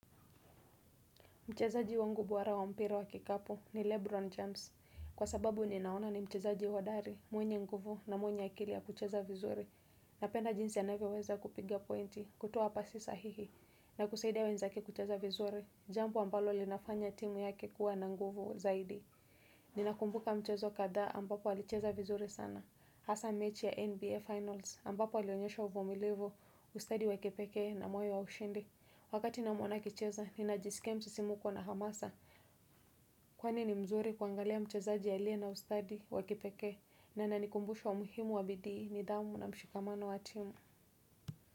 Mchezaji wangu bora wa mpira wa kikapu ni Lebron James. Kwa sababu ninaona ni mchezaji hodari, mwenye nguvu na mwenye akili ya kucheza vizuri. Napenda jinsi anavyo weza kupiga pointi, kutoa pasi sahihi, na kusaidia wenzake kucheza vizuri. Jambo ambalo linafanya timu yake kuwa na nguvu zaidi. Ninakumbuka mchezo kadhaa ambapo alicheza vizuri sana Hasa mechi ya NBA Finals ambapo alionyesha uvumilivu ustadi wa kipekee na moyo wa ushindi Wakati namuona akicheza ninajiskia msisimuko na hamasa Kwani ni mzuri kuangalia mchezaji aliye na ustadi wa kipekee na ananikumbusha umuhimu wa bidii nidhamu na mshikamano wa timu.